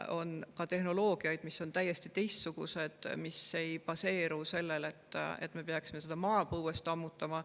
On ka tehnoloogiaid, mis on täiesti teistsugused, mis ei baseeru sellel, et me peaksime seda maapõuest ammutama.